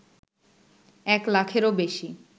এক লাখেরও বেশি